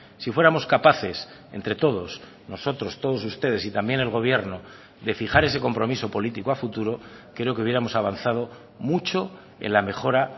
si fuéramos capaces entre todos nosotros todos ustedes y también el gobierno de fijar ese compromiso político a futuro creo que hubiéramos avanzado mucho en la mejora